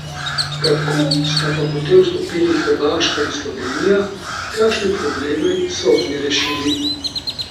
Kako sta pa potem vstopili Hrvaška in Slovenije, kakšne probleme so oni rešili?